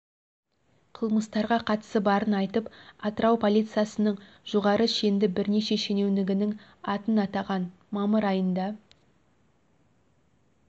қылмыстарға қатысы барын айтып атырау полициясының жоғары шенді бірнеше шенеунігінің атын атаған мамыр айында